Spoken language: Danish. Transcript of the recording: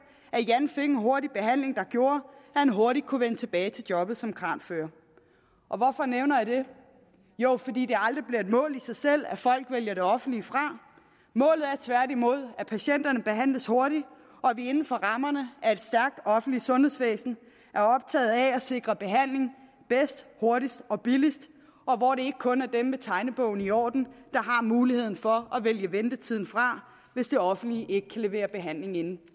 at jan fik en hurtig behandling der gjorde at han hurtigt kunne vende tilbage til jobbet som kranfører og hvorfor nævner jeg det jo fordi det aldrig bliver et mål i sig selv at folk vælger det offentlige fra målet er tværtimod at patienterne behandles hurtigt og at vi inden for rammerne af et stærkt offentligt sundhedsvæsen er optaget af at sikre behandling bedst hurtigst og billigst og hvor det ikke kun er dem med tegnebogen i orden der har muligheden for at vælge ventetiden fra hvis det offentlige ikke kan levere behandling inden